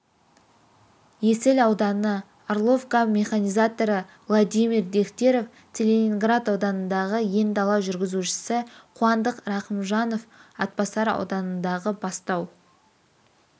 есіл ауданы орловка механизаторы владимир дехтерев целиноград ауданындағы ен-дала жүргізушісі қуандық рахымжанов атбасар ауданындағы бастау